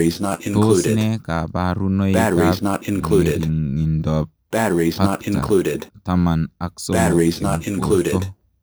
Tos nee kabarunoik ap ngeringindop Pacta taman ak somok eng portoo?